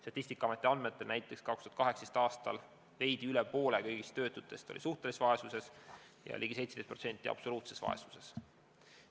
Statistikaameti andmetel elas 2018. aastal veidi üle poole kõigist töötutest suhtelises vaesuses ja ligi 17% absoluutses vaesuses.